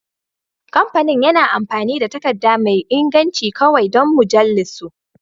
Kamfanin yana amfani da takarda mai inganci kawai don mujallunsu